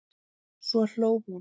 Svo hló hún.